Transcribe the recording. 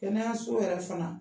Kɛnɛyaso yɛrɛ fana